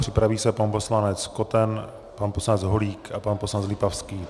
Připraví se pan poslanec Koten, pan poslanec Holík a pan poslanec Lipavský.